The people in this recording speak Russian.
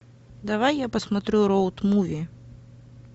давай я посмотрю роуд муви